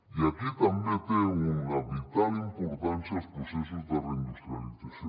i aquí també tenen una vital importància els processos de reindustrialització